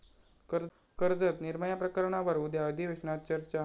कर्जत 'निर्भया' प्रकरणावर उद्या अधिवेशनात चर्चा